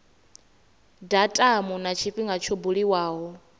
datumu na tshifhinga tsho buliwaho